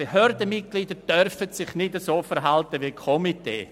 Behördenmitglieder dürfen sich nicht so verhalten wie Komitees.